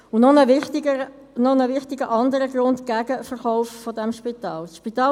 Es gibt noch einen anderen wichtigen Grund, der gegen den Verkauf des Spitals spricht.